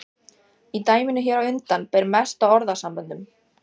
Í dæminu hér á undan ber mest á orðasamböndum.